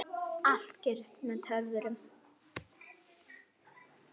Allt gerist með töfrum.